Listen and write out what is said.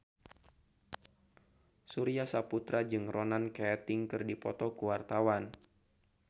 Surya Saputra jeung Ronan Keating keur dipoto ku wartawan